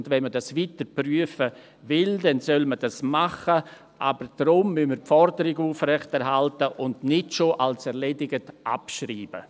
Und wenn er dies weiter prüfen will, dann soll man dies tun, aber deshalb müssen wir die Forderung aufrechterhalten und nicht schon als erledigt abschreiben.